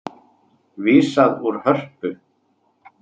Vísað úr Hörpu